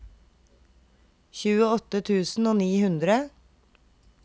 tjueåtte tusen og ni hundre